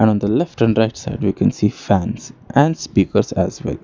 Around the left and right side we can see a fans and speakers as well.